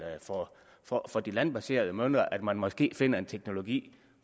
for de landbaserede møller at man måske finder en teknologi